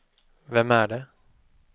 vem är det